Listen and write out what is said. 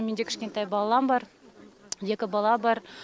менде кішкентай балам бар екі бала бар